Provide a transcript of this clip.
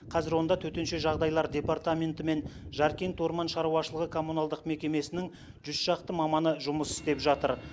қазір онда төтенше жағдайлар департаменті мен жаркент орман шаруашылығы коммуналдық мекемесінің жүз шақты маманы жұмыс істеп жатыр